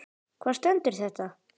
Hvar stendur þetta?